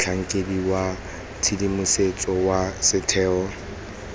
motlhankedi wa tshedimosetso wa setheo